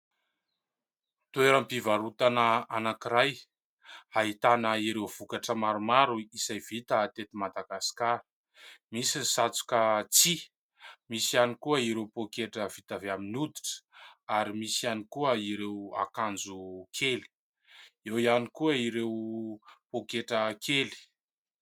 Toeram-pivarotana anankiray, ahitana ireo vokatra maromaro izay vita tety "Madagasikara". Misy ny satroka tsihy, misy ihany koa ireo poketra vita avy amin'ny oditra ary misy ihany koa ireo akanjo kely, eo ihany koa ireo poketra kely.